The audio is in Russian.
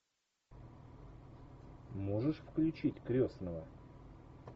можешь включить крестного